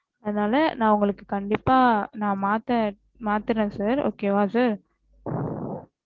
அதனால நா உங்களுக்கு கண்டிப்பா ந மாத்த மாத்துறேன் sir